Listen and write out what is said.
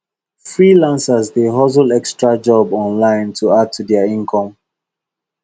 freelancers dey hustle extra job online to add to their income